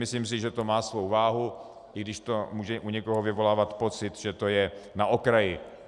Myslím si, že to má svou váhu, i když to může u někoho vyvolávat pocit, že to je na okraji.